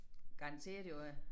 Garanteret jo øh